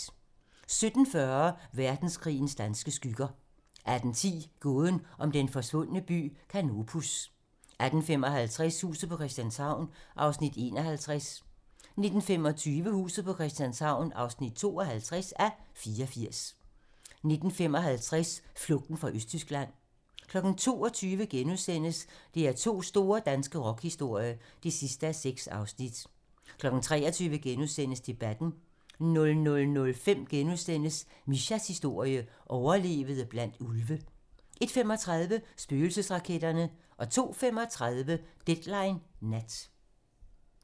17:40: Verdenskrigens danske skygger 18:10: Gåden om den forsvundne by Canopus 18:55: Huset på Christianshavn (51:84) 19:25: Huset på Christianshavn (52:84) 19:55: Flugten fra Østtyskland 22:00: DR2's store danske rockhistorie (6:6)* 23:00: Debatten * 00:05: Mishas historie: Overlevede blandt ulve * 01:35: Spøgelsesraketterne 02:35: Deadline nat